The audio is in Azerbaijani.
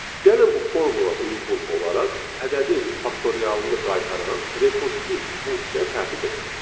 Gəlin bu formula uyğun olaraq ədədin faktorialını qaytaran rekursiv funksiya tərtib edək.